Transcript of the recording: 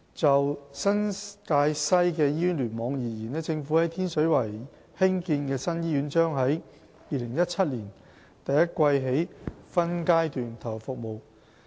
就新界西醫院聯網而言，政府在天水圍興建的新醫院將在2017年第一季起分階段投入服務。